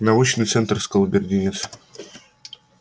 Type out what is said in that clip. научный центр сказал бедренец